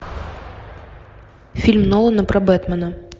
фильм нолана про бэтмена